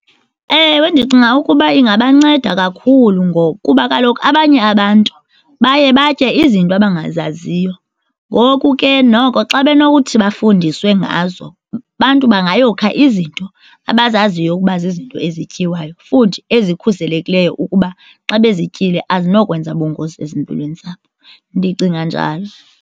Ewe, ndicinga ukuba ingabanceda kakhulu ngokuba kaloku abanye abantu baye batye izinto abangazaziyo. Ngoku ke, noko xa benokuthi bafundiswe ngazo abantu bangayeka izinto abazaziyo ukuba zizinto ezityiwayo futhi ezikhuselekileyo ukuba xa bezityile azinokwenza bungozi ezimpilweni zabo. Ndicinga njalo.